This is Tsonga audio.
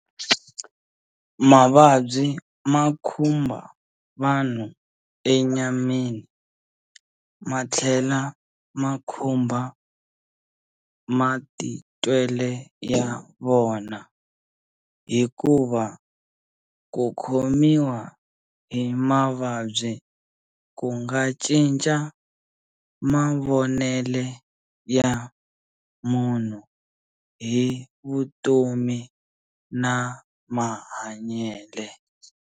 Mavabyi makhumba vanhu enyameni, mathlela makhumba matitwele ya vona, hikuva kukhomiwa hi mavabyi kungacinca mavonele ya munhu hi vutomi na mahanyele.